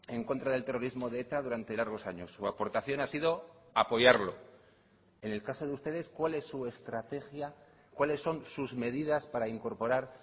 en contra del terrorismo de eta durante largos años su aportación ha sido apoyarlo en el caso de ustedes cuál es su estrategia cuáles son sus medidas para incorporar